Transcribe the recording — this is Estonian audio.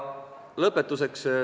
Lõpetuseks.